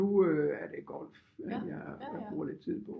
Nu øh er det golf jeg bruger lidt tid på